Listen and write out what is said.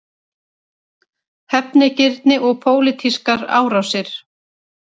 Hefnigirni og pólitískar árásir